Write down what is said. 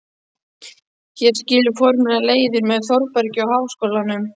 Hér skilur formlega leiðir með Þórbergi og Háskólanum.